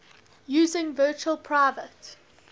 using virtual private